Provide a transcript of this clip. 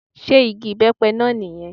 Sé igi ìbẹ́pẹ náà ní yẹn